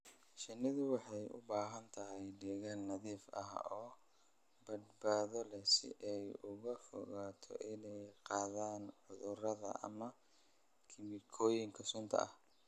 Shinnidu waxay u baahan tahay deegaan nadiif ah oo badbaado leh si ay uga fogaato inay qaadaan cudurrada ama kiimikooyinka sunta ah.